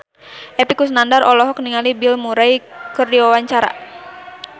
Epy Kusnandar olohok ningali Bill Murray keur diwawancara